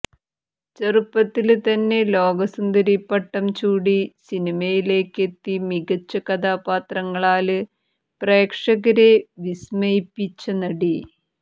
ചെറുപ്പത്തില് തന്നെ ലോക സുന്ദരിപ്പട്ടം ചൂടി സിനിമയിലേക്ക് എത്തി മികച്ച കഥാപാത്രങ്ങളാല് പ്രേക്ഷകരെ വിസ്മയിപ്പിച്ച നടി